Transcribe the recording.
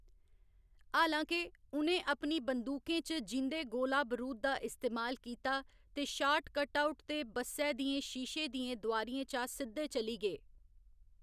हालां के, उ'नें अपनी बंदूकें च जींदे गोला बरूद दा इस्तेमाल कीता ते शाट कटआउट ते बस्सै दियें शीशे दियें दुआरियें चा सिद्धे चली गे।